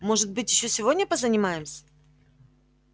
может быть ещё сегодня позанимаемся